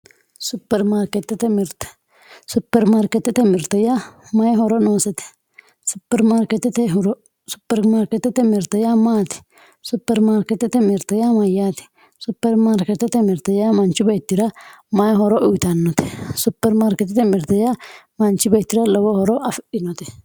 superimariketete mirte superimariketete mirte ya mayi horo nosete superimariketete horo superimariketete mirte ya matti superimariketete mirte ya mayate superimariketete mirte manchi betira mayi horo uyitano superimariketete mirte ya manchi betira lowo horo afidhinote